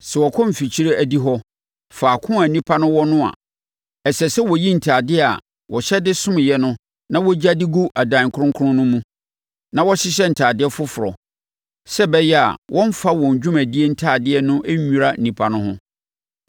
Sɛ wɔkɔ mfikyire adihɔ, faako a nnipa no wɔ no a, ɛsɛ sɛ wɔyi ntadeɛ a wɔhyɛ de someeɛ no na wɔgya de gu adan kronkron no mu, na wɔhyehyɛ ntadeɛ foforɔ, sɛ ɛbɛyɛ a wɔmmfa wɔn dwumadie ntadeɛ no nnwira nnipa no ho.